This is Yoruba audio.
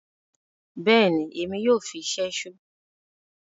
Bẹẹni, Èmi yoo fí ṣẹṣo